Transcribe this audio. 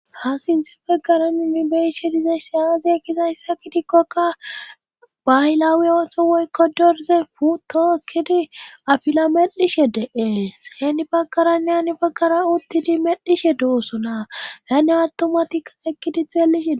rasinthe peggarani ni beishe dizay siyaazi ekkizayssa gidikkoka baylaawi ooso woykko dorze puto ekkidi afila medhishe de7ee heeni baggaranne heni baggara uttidi medhishe doosonaa yanne attumatika ekkidithellishee